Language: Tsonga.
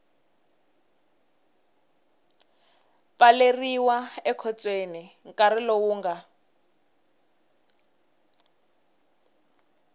pfaleriwa ekhotsweni nkarhi lowu nga